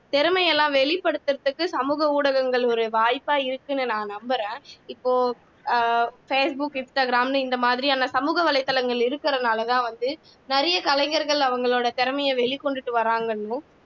திறமை எல்லாம் வெளிப்படுத்துறக்கு சமூக ஊடகங்கள் ஒரு வாய்ப்பா இருக்குன்னு நான் நம்புறேன் இப்போ facebook instagram ன்னு இந்த மாதிரியான சமூக வலைத்தளங்கள் இருக்கிறதுனாலதான் வந்து நிறைய கலைஞர்கள் அவங்களோட திறமையை வெளிக்கொண்டுட்டு வராங்க